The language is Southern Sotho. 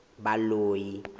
baloi